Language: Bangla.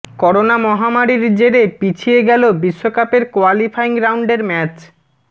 করোনা মহামারীর জেরে পিছিয়ে গেল বিশ্বকাপের কোয়ালিফাইং রাউন্ডের ম্যাচ